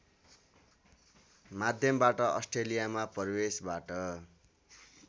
माध्यमबाट अस्ट्रेलियामा प्रवेशबाट